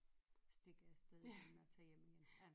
Stikker afsted må man tage hjem igen